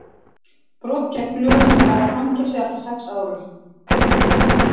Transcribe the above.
brot gegn lögunum varða fangelsi allt að sex árum